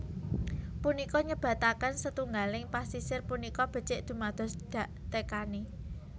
Punika nyebataken setunggaling pasisir punika becik dumados daktekani